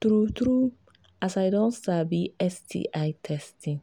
true true as i don sabi sti testing